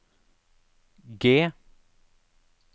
G